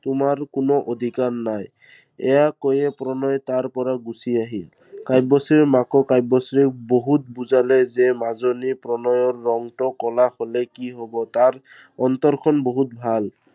তোমাৰ কোনো অধিকাৰ নাই। এইয়া কৈয়ে প্ৰণয়ে তাৰ পৰা গুচি আহিল। কাব্যশ্ৰীৰ মাকে কাব্যশ্ৰীক বহুত বুজালে যে মাজনী প্ৰণয়ৰ ৰঙটো ক'লা হলে কি হব তাৰ অন্তৰখন বহুত ভাল।